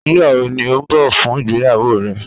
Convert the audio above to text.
Nigbawo ni a n bọ fun igbeyawo rẹ?